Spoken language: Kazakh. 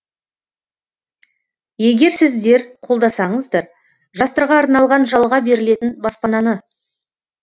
егер сіздер қолдасаңыздар жастарға арналған жалға берілетін баспананы